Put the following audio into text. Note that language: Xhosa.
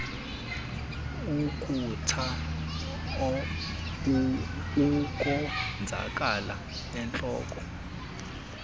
ukutsha ukonzakala entloko